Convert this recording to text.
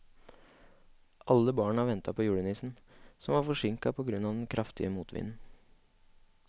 Alle barna ventet på julenissen, som var forsinket på grunn av den kraftige motvinden.